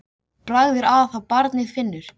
Bragð er að þá barnið finnur!